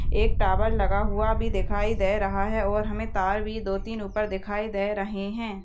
एक टावर लगा हुआ भी दिखाई दे रहा है और हमे तार भी दो तीन ऊपर दिखाई दे रहे है।